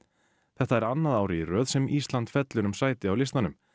þetta er annað árið í röð sem Ísland fellur um sæti á listanum